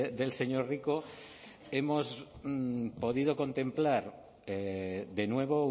del señor rico hemos podido contemplar de nuevo